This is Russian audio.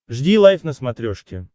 жди лайв на смотрешке